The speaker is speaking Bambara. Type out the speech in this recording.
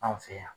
Anw fɛ yan